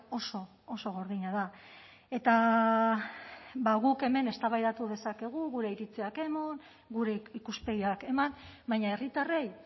oso oso gordina da eta guk hemen eztabaidatu dezakegu gure iritziak eman gure ikuspegiak eman baina herritarrei